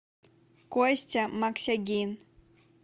костя максягин